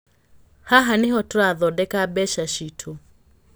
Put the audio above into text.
Haha nĩho tũrathondeka mbeca cĩtũ.